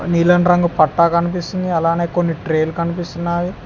నీలం రంగు పట్టా కనిపిస్తుంది అలానే కొన్ని ట్రేలు కనిపిస్తున్నాయి.